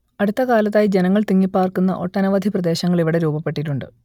അടുത്തകാലത്തായി ജനങ്ങൾ തിങ്ങിപ്പാർക്കുന്ന ഒട്ടനവധി പ്രദേശങ്ങൾ ഇവിടെ രൂപപ്പെട്ടിട്ടുണ്ട്